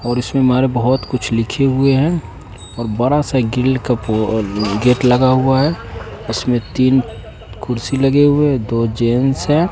और इसमें मारे बहोत कुछ लिखे हुए है और बड़ा सा ग्रील का वो गेट लगा हुआ है उसमें तीन कुर्सी लगे हुए है दो जेंस है।